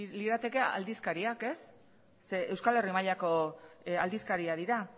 lirateke aldizkariak ze euskal herri mailako aldizkariak dira